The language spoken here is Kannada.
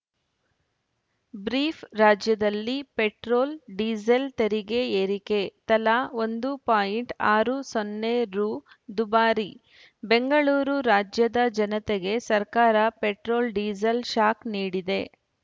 ಬ್ರೀಫ್‌ ರಾಜ್ಯದಲ್ಲಿ ಪೆಟ್ರೋಲ್‌ ಡೀಸೆಲ್‌ ತೆರಿಗೆ ಏರಿಕೆ ತಲಾ ಒಂದು ಪಾಯಿಂಟ್ ಆರು ಸೊನ್ನೆ ರು ದುಬಾರಿ ಬೆಂಗಳೂರು ರಾಜ್ಯದ ಜನತೆಗೆ ಸರ್ಕಾರ ಪೆಟ್ರೋಲ್‌ ಡೀಸೆಲ್‌ ಶಾಕ್‌ ನೀಡಿದೆ